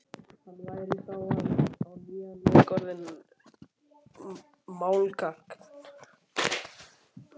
Hann væri þá á nýjan leik orðinn málgagn.